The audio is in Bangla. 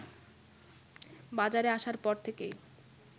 বাজারে আসার পর থেকেই